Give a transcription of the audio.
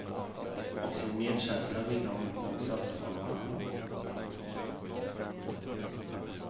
Och sin medkänsla ville hon nog satsa på något annat. punkt